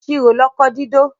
Ìṣirò lọkọ dídó